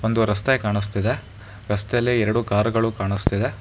ಒಂದು ರಸ್ತೆ ಕಾಣಿಸ್ತಿದೆ ರಸ್ತೆಯಲ್ಲಿ ಎರಡು ಕಾರುಗಳು ಕಾಣಿಸ್ತಿದೆ.